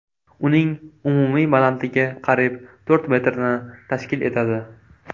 Uning umumiy balandligi qariyb to‘rt metrni tashkil etadi”.